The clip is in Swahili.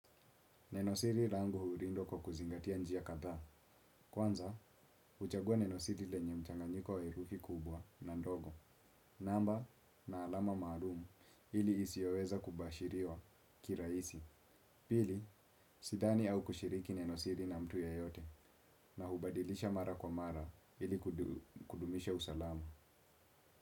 Nenosiri rangu hurindwa kwa kuzingatia njia kadha. Kwanza, uchagua nenosiri lenye mchanganyiko wa herufi kubwa na ndogo. Namba, na alama maalumu ili isioweza kubashiriwa kiraisi. Pili, sidhani au kushiriki neno siri na mtu yeyote na hubadilisha mara kwa mara ili kudumisha usalama.